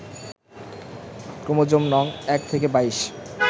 chromosome নং ১ থেকে ২২